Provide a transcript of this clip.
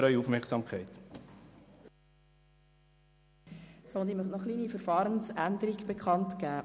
Ich möchte noch eine kleine Verfahrensänderung bekannt geben: